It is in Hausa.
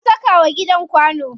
An saka wa gidan kwano.